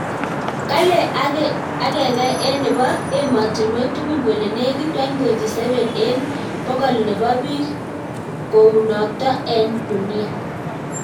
Kale egenge enebo ematinuek tugul kole negit 1.7 eng bokolnebo bik kounotok eng dunia.